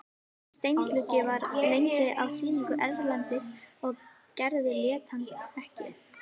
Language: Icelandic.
Þessi steindi gluggi var lengi á sýningum erlendis og Gerður lét hann ekki.